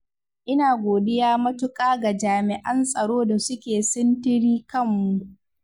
ina godiya matuƙa ga jami'an tsaro da suke sintiri kanmu.